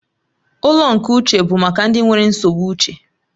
Ụlọ nke uche bụ maka ndị nwere nsogbu uche